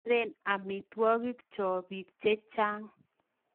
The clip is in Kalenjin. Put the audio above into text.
Nyeren amitwogik chobik che chang'